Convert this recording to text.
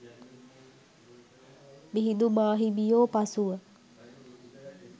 මිහිඳු මාහිමියෝ පසුව